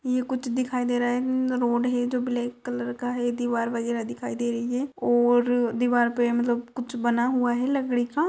ये कुछ दिखाई दे रहा है। रोड है जो ब्लाक कलर का है। दीवार वगैरा दिखाई दे रही है और दीवार पे मतलब कुछ बना हुआ है लकड़ी का।